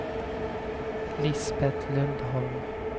Lisbet Lundholm